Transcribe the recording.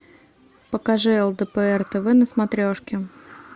покажи лдпр тв на смотрешке